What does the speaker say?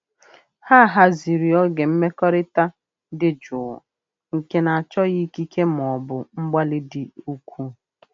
Ha haziri oge mmekọrịta dị jụụ nke na-achọghị ikike maọbụ mgbalị dị ukwuu.